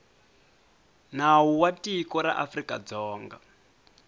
nawu wa tiko ra afrikadzonga